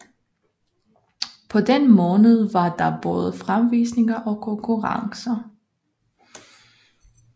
På den måned var der både fremvisninger og konkurrencer